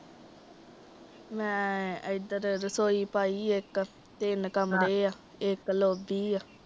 ਮੈ ਏਦਾਂ ਤਾਂ ਰਸੋਈ ਪਾਈ ਏ ਇੱਕ, ਤਿੰਨ ਕਮਰੇ ਆ, ਲੋਬੀ ਏ।